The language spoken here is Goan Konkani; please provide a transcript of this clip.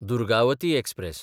दुर्गावती एक्सप्रॅस